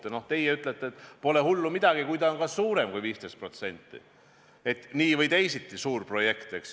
Ja no teie ütlete, et pole hullu midagi, kui ta on ka suurem kui 15%, nii või teisiti suur projekt, eks.